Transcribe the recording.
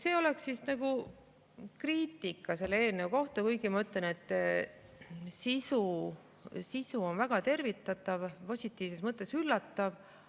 See oli kriitika selle eelnõu kohta, kuigi ma ütlen, et sisu on väga tervitatav, positiivses mõttes üllatav.